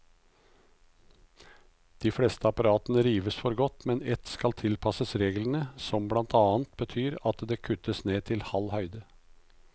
De fleste apparatene rives for godt, mens ett skal tilpasses reglene, som blant annet betyr at det kuttes ned til halv høyde.